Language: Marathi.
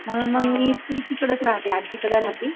म्हणून मग मी ती तिकडेच रहाते आज्जीकडे रहाते